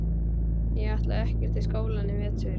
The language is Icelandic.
Ég ætla ekkert í skólann í vetur.